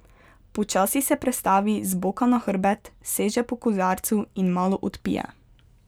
Počasi se prestavi z boka na hrbet, seže po kozarcu in malo odpije.